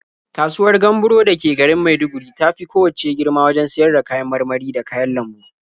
Kasuwar Gamburo da ke garin Maiduguri ta fi kowacce girma wajen siyar da kayan marmari da kayan lambu.